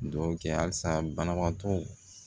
Dugawu kɛ halisa banabaatɔ